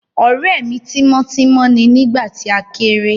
Ọ̀rẹ́ mi tímọ́ tímọ́ ni nígbà tí a kéré